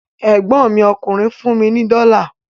Ẹ̀gbọ́n mi ọkùnrin fún mi ní dọ́la